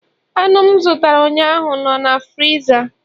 anụ m zụtara ụnyaahụ nọ na friza